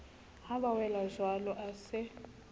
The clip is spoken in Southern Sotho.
ha ba welajwalo a se